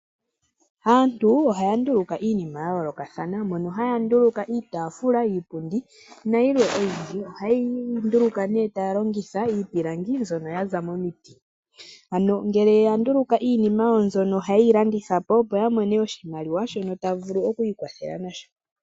Aantu ohaya nduluka iinima ya yoolokathana mono haya nduluka iitafula, iipundi nayimwe oyindji. Ohayeyi nduluka taya longitha iipilangi mbyono ya za momiti, ngele ya nduluka iinima mbyono ohayeyi landithapo opo ya mone oshimaliwa shono ta vulu oku ikwathela nasho.